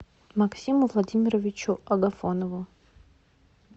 максиму владимировичу агафонову